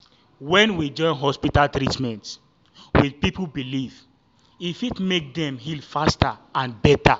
when we join hospital treatment with people belief e fit make dem heal faster and better.